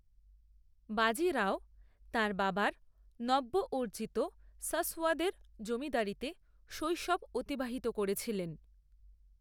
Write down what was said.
বাজি রাও তাঁর বাবার নব্য অর্জিত সাসওয়াদের জমিদারিতে শৈশব অতিবাহিত করেছিলেন।